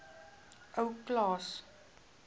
ou klaas